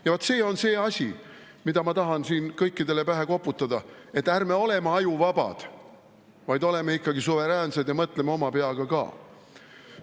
Ja vaat see on see asi, miks ma tahan siin kõikidele pähe koputada: ärme oleme ajuvabad, vaid oleme ikkagi suveräänsed ja mõtleme oma peaga ka.